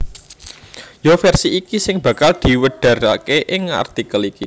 Ya versi iki sing bakal diwedharaké ing artikel iki